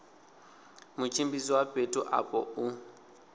mutshimbidzi wa fhethu afho u